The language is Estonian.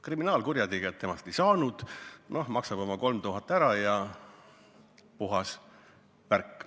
Kriminaalkurjategijat temast ei saanud, maksab oma 3000 ära, ja puhas värk.